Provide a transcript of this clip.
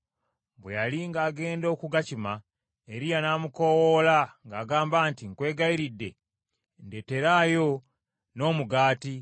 Bwe yali ng’agenda okugakima, Eriya n’amukoowoola ng’agamba nti, “Nkwegayiridde, ndeeteraayo n’omugaati.”